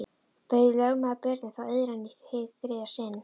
Bauð lögmaður Birni þá iðran í hið þriðja sinn.